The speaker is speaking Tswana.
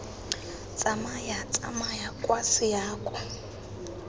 tsamaya tsamaya kwa ga seako